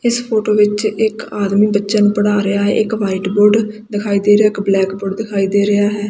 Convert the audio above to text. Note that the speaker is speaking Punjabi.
ਇੱਸ ਫ਼ੋਟੋ ਵਿੱਚ ਇੱਕ ਆਦਮੀ ਬੱਚੇਯਾਂ ਨੂੰ ਪੜ੍ਹਾ ਰਿਹਾ ਹੈ ਇੱਕ ਵ੍ਹਾਈਟ ਬੋਰਡ ਦਿਖਾਈ ਦੇ ਰਿਹਾ ਇੱਕ ਬਲੈਕ ਬੋਰਡ ਦਿਖਾਈ ਦੇ ਰਿਹਾ ਹੈ।